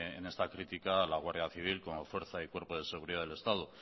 en esta crítica a la guardia civil como fuerza y cuerpo de seguridad del estado